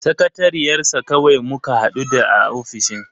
Sakatariyar sa kawai muka hadu da a ofishin.